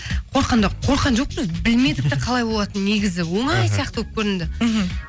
қорыққан да қорыққан жоқпыз білмедік те қалай болатынын негізі оңай сияқты болып көрінді мхм